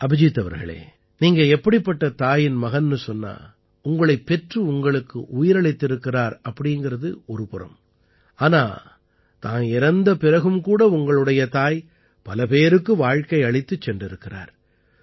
அபிஜீத் அவர்களே நீங்க எப்படிப்பட்ட தாயின் மகன்னு சொன்னா உங்களைப் பெற்று உங்களுக்கு உயிரளித்திருக்கிறார் என்பது ஒரு புறம் ஆனால் தான் இறந்த பிறகும் கூட உங்களுடைய தாய் பல பேருக்கு வாழ்க்கை அளித்துச் சென்றிருக்கிறார்